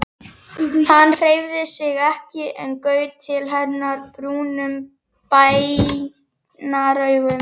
Hann hreyfði sig ekki en gaut til hennar brúnum bænaraugum.